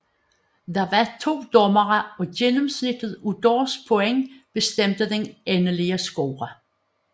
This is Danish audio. Der var to dommere og gennemsnittet af deres point bestemte den endelige score